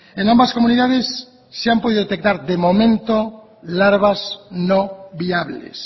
en ambas comunidades se han podido detectar de momento larvas no viables